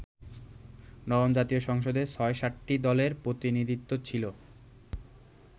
নবম জাতীয় সংসদে ছয়-সাতটি দলের প্রতিনিধিত্ব ছিল।